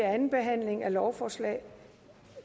eller nul forslaget